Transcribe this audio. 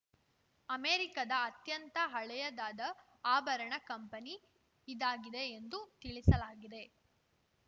ಅಮೆರಿಕದ ಅತ್ಯಂತ ಹಳೆಯದಾದ ಆಭರಣ ಕಂಪನಿ ಇದಾಗಿದೆ ಎಂದು ತಿಳಿಸಲಾಗಿದೆ